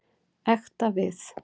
Ekta við.